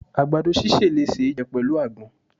agbadọ síse le ṣe jẹ pẹlu agbòn